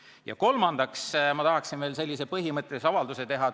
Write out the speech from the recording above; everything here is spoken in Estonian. Ja kolmandaks tahaksin ma ühe põhimõttelise avalduse teha.